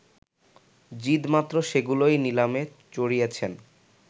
জিদ মাত্র সেগুলোই নিলামে চড়িয়েছেন